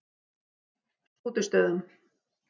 Skútustöðum